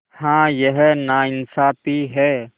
हाँ यह नाइंसाफ़ी है